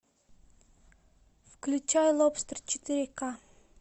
включай лобстер четыре к